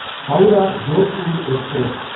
Howrah Jodhpur express